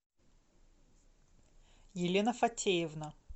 елена фатеевна